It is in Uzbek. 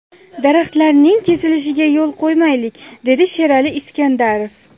Daraxtlarning kesilishiga yo‘l qo‘ymaylik”, dedi Sherali Iskandarov.